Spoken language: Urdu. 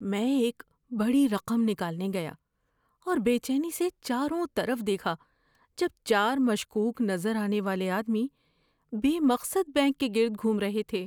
میں ایک بڑی رقم نکالنے گیا اور بے چینی سے چاروں طرف دیکھا جب چار مشکوک نظر آنے والے آدمی بے مقصد بینک کے گرد گھوم رہے تھے۔